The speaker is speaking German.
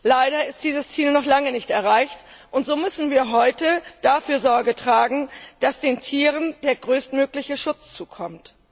Leider ist dieses Ziel noch lange nicht erreicht, und so müssen wir heute dafür Sorge tragen, dass den Tieren der größtmögliche Schutz zukommt.